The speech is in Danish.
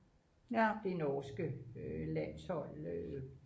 det norske landshold